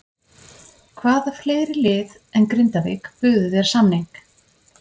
Hvaða fleiri lið en Grindavík buðu þér samning?